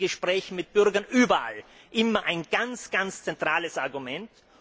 Das ist in Gesprächen mit Bürgern überall immer ein ganz zentrales Argument.